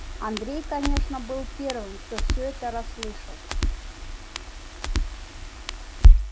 андрей конечно был первым кто все это расслышал